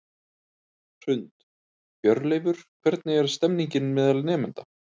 Hrund: Hjörleifur, hvernig er stemningin meðal nemenda?